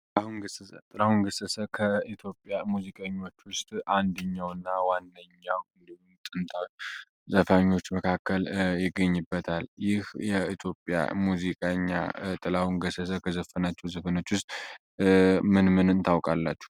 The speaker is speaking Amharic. ጥላሁን ገሰሰ ጥላሁን ገሰሰ በኢትዮጵያ ሙዚቀኞች ውስጥ አንድኛው እና ዋነኛው ጥንታዊ ዘፋኞች መካከል ይገኝበታል። ይህ የኢኢትዮጵያ ዘፋኝ ጥላሁን ገሰሰ ከዘፈናቸው ዘፍኖች ውስጥ ምን ምንን ታውቃላችሁ?